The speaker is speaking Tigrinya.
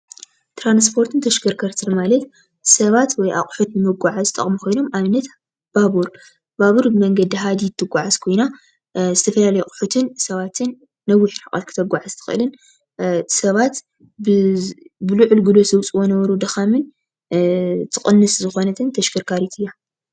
ትራኒስፖርትን ተሽከርከርትን ማለት ሰባት ወይ ኣቁሑት ን ምጓዓዝ ዝጠቅሙ ኮይኖሞ ኣብነት ባቡር ባቡር መንገዲ ሃዲድ ትጓዓዝ ኮይና ዝተፋላለዩ ኣቁሕትን ሰባትን ነዊሕ ርሕቀት ክተጓዕዝ ትክእልን ሰባት ብሉዑል ግሉሱ ዝውፅዎ ዝነበሩ ደካምን ትቅንሰ ዝኮነት ተሽከርካርት እያ፡፡